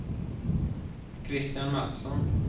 Kristian Matsson